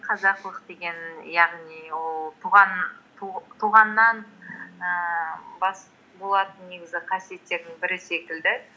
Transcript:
қазақылық деген яғни ол туғаннан ііі болатын негізі қасиеттердің бірі секілді